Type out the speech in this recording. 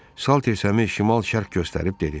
Salter Səmi şimal-şərq göstərib dedi.